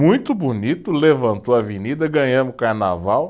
Muito bonito, levantou a avenida, ganhamos o carnaval.